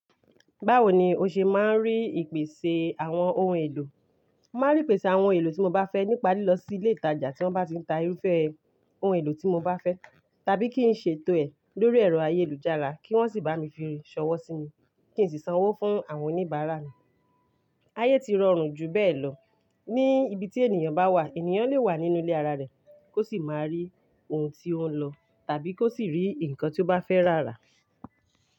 Báwo ni o ṣe máa ń rí ìpèsè àwọn ohun èlò? Mo máa ń rí ìpèsè àwọn ohun èlò tí mo bá fẹ́ nípa lílọ sí ilé ìtajà tí wọ́n bá ti ń ta irúfẹ́ ohun èlò tí mo bá fẹ́, tàbí kí n ṣètò ẹ̀ lórí ẹ̀rọ ayélujára kí wọ́n sì bá mi fi, ṣọwọ́ sí mi kí n sì sanwó fún àwọn oníbàárà mi. Ayé ti rọrùn jù bẹ́ẹ̀ lọ. Ní ibi tí ènìyàn bá wà, ènìyàn lè wà nínú ilé ara rẹ̀ kó sì máa rí ohun tí ó ń lọ tàbí kó sì rí nǹkan tí ó bá fẹ́ rà à.